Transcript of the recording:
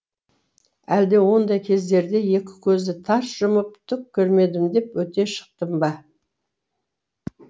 әлде ондай кездерде екі көзді тарс жұмып түк көрмедім деп өте шықтым ба